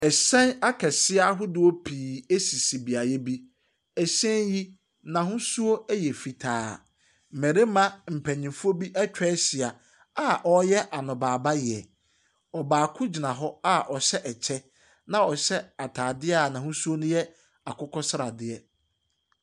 Ɛhyɛn akɛseɛ ahuduɔ pii esisi biaɛ bi. Ɛhyɛn yi, nahusuo ɛyɛ fitaa. Mɛrima panyinfuɔ bi etwa ehyia a ɔɔyɛ anobaebaeɛ. Ɔbaako gyina hɔ a ɔhyɛ ɛkyɛ na ɔhyɛ atadeɛ a nahusuo no yɛ akukɔsadeɛ.